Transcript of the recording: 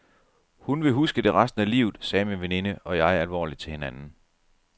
Hun vil huske det resten af livet, sagde min veninde og jeg alvorligt til hinanden.